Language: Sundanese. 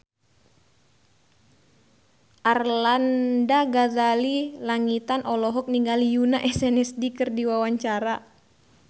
Arlanda Ghazali Langitan olohok ningali Yoona SNSD keur diwawancara